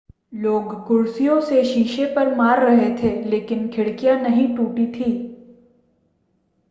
लोग कुर्सियों से शीशे पर मार रहे थे लेकिन खिड़कियां नहीं टूटी थीं